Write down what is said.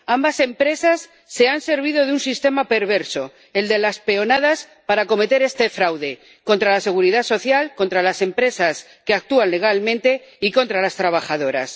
Ambas empresas se han servido de un sistema perverso, el de las peonadas, para cometer este fraude contra la Seguridad Social, contra las empresas que actúan legalmente y contra las trabajadoras.